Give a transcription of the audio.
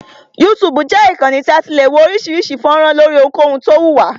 YouTube jẹ́ ìkànnì tí a ti le wo oríṣiríṣi fọ́nrán lóri ohunkohun tí o wù wá.